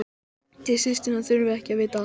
Þið systurnar þurfið ekki að vita allt.